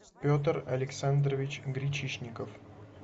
петр александрович гречишников